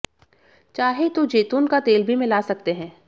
चाहें तो जैतून का तेल भी मिला सकते हैं